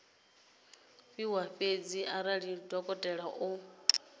fhiwa fhedzi arali dokotela o